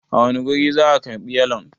a wane guri za a karbi yalon?